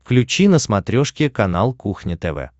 включи на смотрешке канал кухня тв